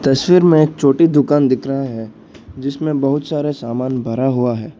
तस्वीर में एक छोटी दुकान दिख रहा है जिसमें बहुत सारे सामान भरा हुआ है।